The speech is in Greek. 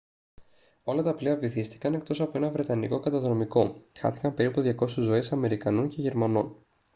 όλα τα πλοία βυθίστηκαν εκτός από ένα βρετανικό καταδρομικό χάθηκαν περίπου 200 ζωές αμερικανών και γερμανών